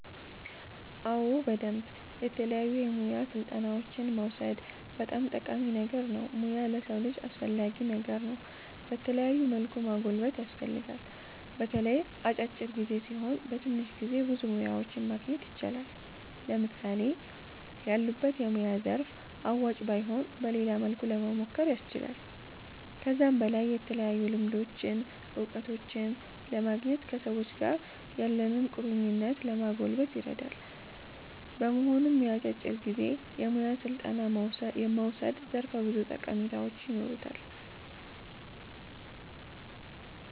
አዎ በደምብ የተለያዩ የሙያ ስልጠናዎችን መዉሰድ በጣም ጠቃሚ ነገር ነዉ ሙያ ለሰዉ ልጅ አስፈላጊ ነገር ነዉ በተለያዩ መልኩ ማጎልበት ያስፈልጋል። በተለይ የአጫጭር ጊዜ ሲሆኑ በትንሽ ጊዜ ብዙ ሙያዎችን ማግኘት ይቻላል። ለምሳሌ ያሉበት የሙያ ዘርፍ አዋጭ ባይሆን በሌላ መልኩ ለሞሞከር ያስችላል። ከዛም በላይ የተለያዩ ልምዶችን እዉቀቶችን ለማግኘት ከሰዎች ጋር ያለንን ቁርኝት ለማጎልበት ይረዳል። በመሆኑም የአጫጭር ጊዜ የሙያ ስልጠና መዉሰድ ዘርፈ ብዙ ጠቀሜታዎች ይኖሩታል